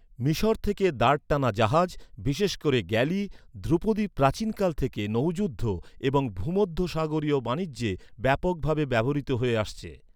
মিশর থেকে, দাঁড় টানা জাহাজ, বিশেষ করে গ্যালি, ধ্রুপদী প্রাচীনকাল থেকে নৌ যুদ্ধ এবং ভূমধ্যসাগরীয় বাণিজ্যে ব্যাপকভাবে ব্যবহৃত হয়ে আসছে।